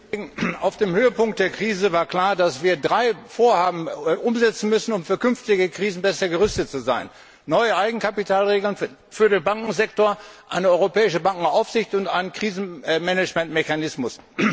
Herr Präsident! Auf dem Höhepunkt der Krise war klar, dass wir drei Vorhaben umsetzen müssen, um für künftige Krisen besser gerüstet zu sein neue Eigenkapitalregeln für den Bankensektor, eine europäische Bankenaufsicht und einen Krisenmanagementmechanismus.